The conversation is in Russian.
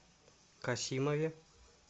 касимове